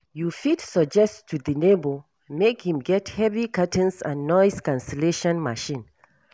You fit suggest to di neighbor make im get heavy curtain and noise cancellation machine